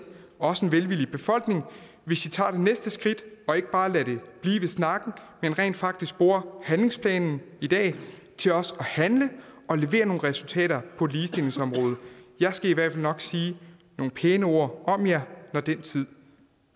også en velvillig befolkning hvis i tager det næste skridt og ikke bare lader det blive ved snakken men rent faktisk bruger handlingsplanen i dag til også at handle og levere nogle resultater på ligestillingsområdet jeg skal i hvert fald nok sige nogle pæne ord om jer når den tid